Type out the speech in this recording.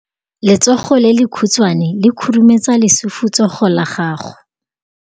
Letsogo le lekhutshwane le khurumetsa lesufutsogo la gago.